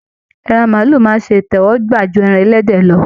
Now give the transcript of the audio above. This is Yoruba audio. Ẹran màálù máa ṣe ìtẹ́wọ́gbà ju ẹran ẹlẹ́dẹ̀ lọ.